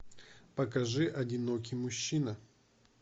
покажи одинокий мужчина